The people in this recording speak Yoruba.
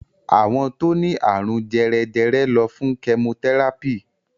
Àwọn tó ní àrùn jèrè jèrè ló fún chemotherapy.